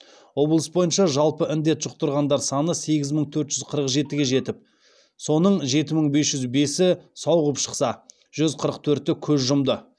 облыс бойынша жалпы індет жұқтырғандар саны сегіз мың төрт жүз қырық жетіге жетіп соның жеті мың бес жүз бесі сауығып шықса жүз қырық төрті көз жұмды